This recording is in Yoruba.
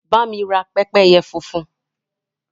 Bá mi ra pẹ́pẹ́yẹ funfun.